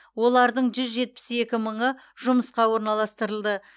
олардың жүз жетпіс екі мыңы жұмысқа орналастырылды